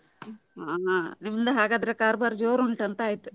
ಹಾ ಹಾ ನಿಮ್ದು ಹಾಗಾದ್ರೆ ಕಾರ್ಬಾರ್ ಜೋರ್ ಉಂಟಂತ ಆಯ್ತು.